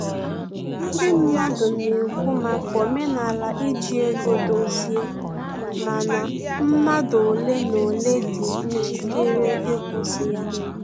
Ndị mmadụ na-ekwu maka omenala iji ego dozie, mana mmadụ ole na ole dị njikere ịkwụsị ya